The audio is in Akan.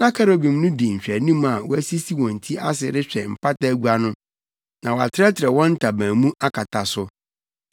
Na kerubim no di nhwɛanim a wɔasisi wɔn ti ase rehwɛ Mpata Agua no na wɔatrɛtrɛw wɔn ntaban mu akata so.